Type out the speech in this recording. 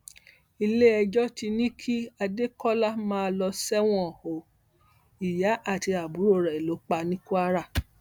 iléẹjọ ti ní kí adékọlá máa lọ sẹwọn o ìyá àti àbúrò rẹ lọ pa ní kwara